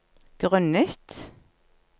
grunnet